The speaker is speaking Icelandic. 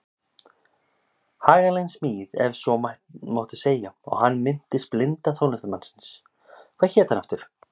Haganleg smíð ef svo mátti segja og hann minntist blinda tónlistarmannsins- hvað hét hann aftur?